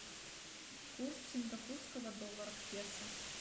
курс сингапурского доллара к песо